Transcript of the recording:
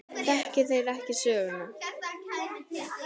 Þekki þeir ekki söguna.